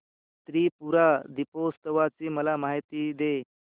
त्रिपुरी दीपोत्सवाची मला माहिती दे